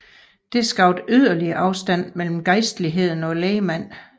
Dette skabte yderligere afstand mellem gejstligheden og lægmand